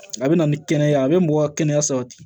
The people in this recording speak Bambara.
A bɛ na ni kɛnɛya ye a bɛ mɔgɔ ka kɛnɛya sabati